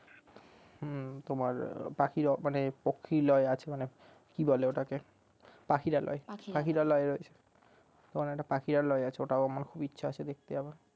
হুম তোমার পাখিরা মানে পক্ষীলয় আছে ওই খানে কি বলে ওটাকে পাখিরালয় পাখিরালয় রয়েছে ওখানে একটা পাখিরালয় আছে ওটাও আমার খুব ইচ্ছে আছে দেখতে যাবার